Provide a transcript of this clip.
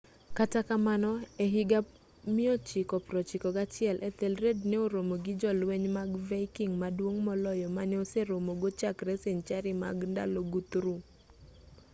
kata kamano e higa 991 ethelred ne oromo gi jolweny mag viking maduong' moloyo mane oseromogo chakre senchari mag ndalo guthrum